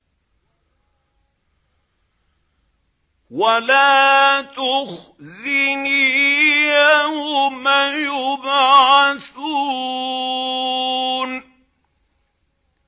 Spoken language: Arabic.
وَلَا تُخْزِنِي يَوْمَ يُبْعَثُونَ